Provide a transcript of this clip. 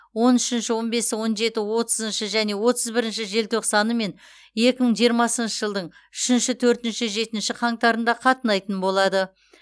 он үшінші он бесі он жеті отызыншы және отыз бірінші желтоқсаны мен екі мың жиырмасыншы жылдың үшінші төртінші жетінші қаңтарында қатынайтын болады